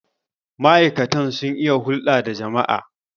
ma'aikatan sun iya hulda da jama'a?